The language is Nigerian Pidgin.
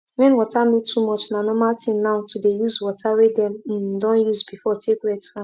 when water no too much na normal thing now to dey use water wey dem um don use before take wet farm